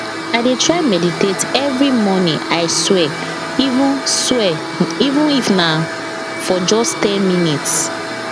i dey try meditate every morning i swear even swear even if na for just ten minutes